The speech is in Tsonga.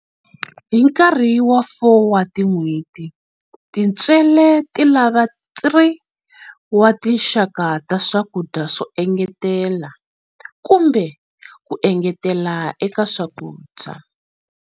Hi nkarhi wa 4 wa tin'hweti, tintswele ti lava 3 wa tinxaka ta swakudya swo engetela, kumbe ku engetela eka swakudya.